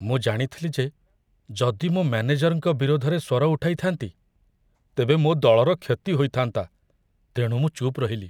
ମୁଁ ଜାଣିଥିଲି ଯେ ଯଦି ମୁଁ ମୋ ମ୍ୟାନେଜରଙ୍କ ବିରୋଧରେ ସ୍ୱର ଉଠାଇଥାନ୍ତି, ତେବେ ମୋ ଦଳର କ୍ଷତି ହୋଇଥାନ୍ତା, ତେଣୁ ମୁଁ ଚୁପ୍ ରହିଲି।